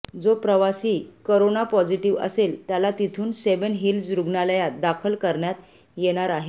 जो प्रवासी corona positive असेल त्याला तिथून सेव्हन हिल्स रुग्णालयात दाखल करण्यात येणार आहे